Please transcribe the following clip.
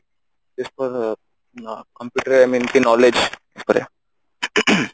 computer I mean knowledge ଉପରେ ing